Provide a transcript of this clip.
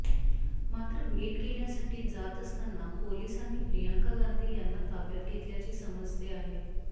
मात्र भेट घेण्यासाठी जात असताना पोलिसांनी प्रियंका गांधी यांना ताब्यात घेतल्याचे समजते आहे